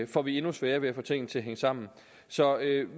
får vi endnu sværere ved at få tingene til at hænge sammen så